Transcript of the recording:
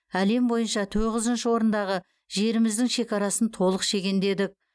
әлем бойынша тоғызыншы орындағы жеріміздің шекарасын толық шегендедік